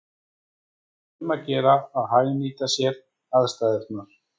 Og þá er um að gera að hagnýta sér aðstæðurnar.